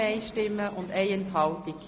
Sie haben das Geschäft angenommen.